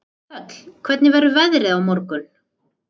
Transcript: Þöll, hvernig verður veðrið á morgun?